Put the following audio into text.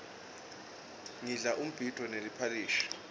ngidla umbhidvo neliphalishi